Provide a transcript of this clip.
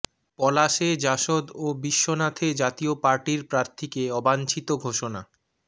পলাশে জাসদ ও বিশ্বনাথে জাতীয় পার্টির প্রার্থীকে অবাঞ্ছিত ঘোষণা